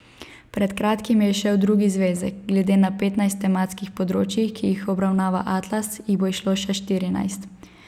Pred kratkim je izšel drugi zvezek, glede na petnajst tematskih področij, ki jih obravnava atlas, jih bo izšlo še štirinajst.